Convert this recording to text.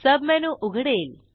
submenu उघडेल